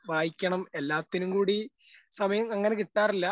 വായിക്കണം എല്ലാത്തിനും കൂടി സമയം അങ്ങനെ കിട്ടാറില്ല.